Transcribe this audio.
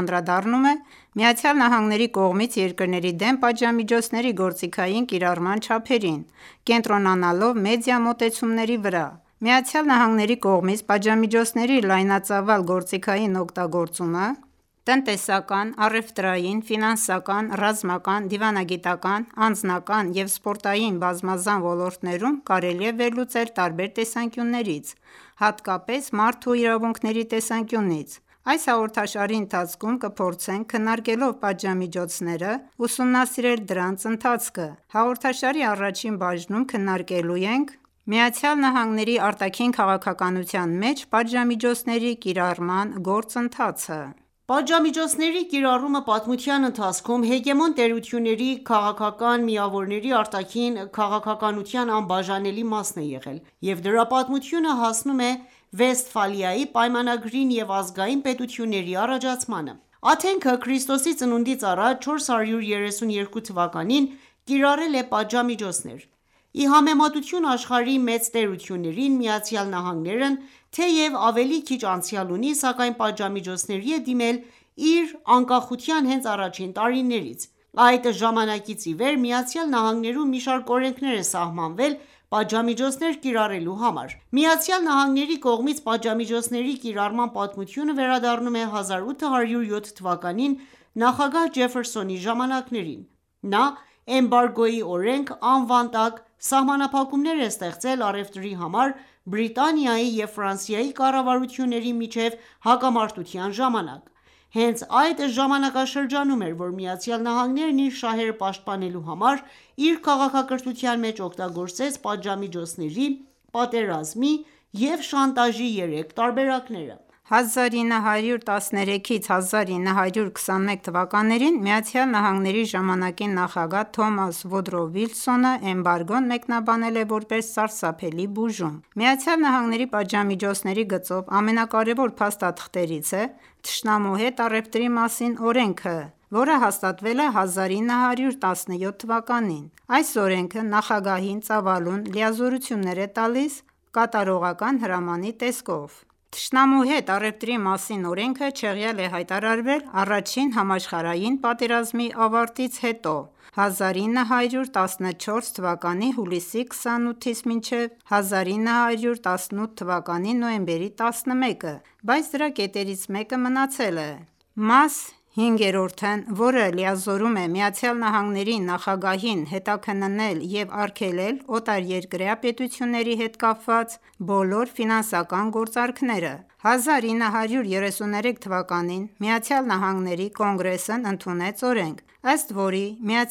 անդրադառնում է ԱՄՆ-ի կողմից երկրների դեմ պատժամիջոցների գործիքային կիրառման չափերին՝ կենտրոնանալով մեդիա մոտեցումների վրա։ Ընկերակցեք մեզ: ԱՄՆ-ի կողմից պատժամիջոցների լայնածավալ գործիքային օգտագործումը տնտեսական, առևտրային, ֆինանսական, ռազմական, դիվանագիտական, անձնական և սպորտային բազմազան ոլորտներում կարելի է վերլուծել տարբեր տեսանկյուններից, հատկապես մարդու իրավունքների տեսանկյունից:Այս հաղորդաշարի ընթացքում կփորձենք քննարկելով պաժամիջոցները ,ուսումնասիրել դրանց ընթացքը: Հաղորդաշարի առաջին բաժնում քննարկելու ենք ԱՄՆ-ի արտաքին քաղաքականության մեջ պատժամիջոցների կիրառման գործընթացը։ Պատժամիջոցների կիրառումը պատմության ընթացքում հեգեմոն տերությունների քաղաքական միավորների արտաքին քաղաքականության անբաժանելի մասն է եղել, և դրա պատմությունը հասնում է Վեստֆալիայի պայմանագրին և ազգային պետությունների առաջացմանը: Աթենքը ,ՔԾԱ. 432 թվականին կիրառել է պատժամիջոցներ: Ի համեմատություն աշխարհի մեծ տերություններին, ԱՄՆ-ն, թեև ավելի քիչ անցյալ ունի ,սակայն պատժամիջոցների է դիմել իր անկախության հենց առաջին տարիներից։ Այդ ժամանակից ի վեր ԱՄՆ-ում մի շարք օրենքներ է սահմանվել պատժամիջոցներ կիրառելու համար: ԱՄՆ-ի կողմից պատժամիջոցների կիրառման պատմությունը վերադառնում է 1807 թվականին նախագահ Ջեֆերսոնի ժամանակներին: Նա «Էմբարգոյի օրենք » անվան տակ սահմանափակումներ է ստեղծել առևտրի համար Բրիտանիայի և Ֆրանսիայի կառավարությունների միջև հակամարտության ժամանակ։ Հենց այդ ժամանակաշրջանում էր ,որ ԱՄՆ-ն իր շահերը պաշտպանելու համար իր քաղաքականության մեջ օգտագործեց պատժամիջոցների, պատերազմի և շանտաժի երեք տարբերակները ։ 1913-1921 թվականներին ԱՄՆ-ի ժամանակի նախագահ Թոմաս Վուդրո Վիլսոնը էմբարգոն մեկնաբանել է, որպես «սարսափելի բուժում»: ԱՄՆ-ի պատժամիջոցների գծով ամենակարևոր փաստաթղթերից է «Թշնամու հետ առևտրի մասին» օրենքը, որը հաստատվել է 1917 թվականին: Այս օրենքը նախագահին ծավալուն լիազորություններ է տալիս «կատարողական հրամանի» տեսքով։ Թշնամու հետ առևտրի մասին օրենքը չեղյալ է հայտարարվել Առաջին համաշխարհային պատերազմի ավարտից հետո (1914թ. հուլիսի 28-ից մինչև 1918թ. նոյեմբերի 11): Բայց դրա կետերից մեկը մնացել է: Մաս 5(բ)-ն,որը լիազորում է ԱՄՆ-ի նախագահին հետաքննել և արգելել օտարերկրյա պետությունների հետ կապված բոլոր ֆինանսական գործարքները: 1933 թվականին ԱՄՆ Կոնգրեսն ընդունեց օրենք, ըստ որի՝ ԱՄՆ